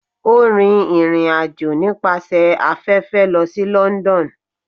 O rin irín ajọ nipasẹ afẹfẹ lo si London.